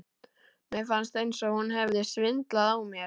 Mér fannst eins og hún hefði svindlað á mér.